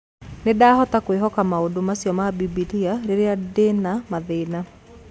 Nĩ ndaahotaga kwĩhoka maũndũ macio ma Bibilia rĩrĩa ndĩ na mathĩna.